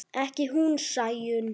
Ekki hún Sæunn.